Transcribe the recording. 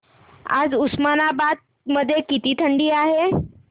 आज उस्मानाबाद मध्ये किती थंडी आहे